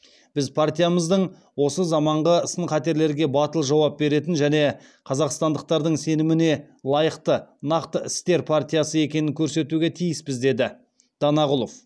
біз партиямыздың осы заманғы сын қатерлерге батыл жауап беретін және қазақстандықтардың сеніміне лайықты нақты істер партиясы екенін көрсетуге тиіспіз деді данағұлов